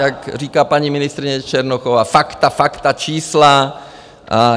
Jak říká paní ministryně Černochová - fakta, fakta, čísla.